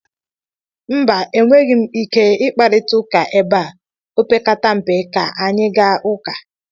mba, enweghị m ike ị kparịta ụka ebe a, opekata mpe ka anyị gaa ụka